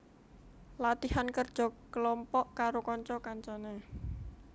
Latihan kerja kelompok karo kanca kancane